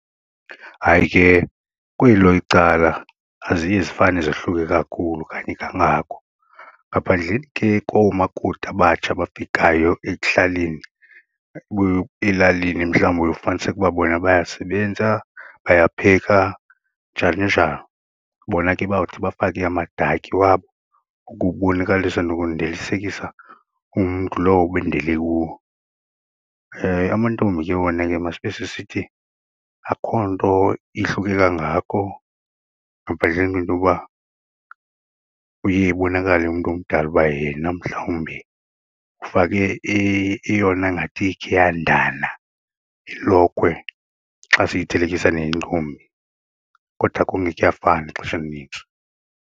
Hayi, ke kwelo icala aziye zifane zohluke kakhulu kanye kangako ngaphandleni ke koomakoti abatsha abafikayo ekuhlaleni elalini mhlawumbi uye ufumaniseke uba bona bayasebenza, bayapheka njani njalo. Bona ke bawuthi bafake amadakhi wabo ukubonakalisa nokundilisekisa umntu lowo ebendele kuwo. Amantombi ke wona ke masibe sisithi akho nto ihluke kangako ngaphandleni kwento yoba uye ibonakale umntu omdala uba yena mhlawumbi ufake eyona ngathi ikhe yandana ilokhwe xa siyithelekisa neyentombi kodwa kum kuyafana ixesha elinintsi.